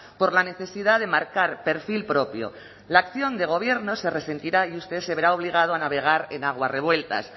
por la necesidad de marcar perfil propio la acción de gobierno se resentirá y usted se verá obligado a navegar en aguas revueltas